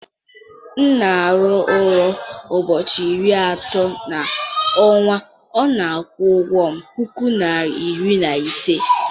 m na-arụ ọrụ ụbọchị iri atọ n'ọnwa, ọ na-akwụkwa m puku naira iri na ise